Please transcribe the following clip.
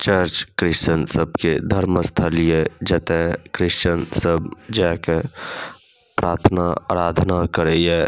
चर्च Christian सब के धर्म स्थली ये जता क्रिश्चन सब जाय के प्रार्थना आराधना करय ये।